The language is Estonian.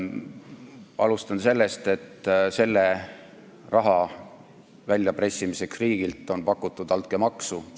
Alustan sellest, et tolle raha väljapressimiseks riigilt on pakutud altkäemaksu.